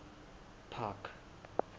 park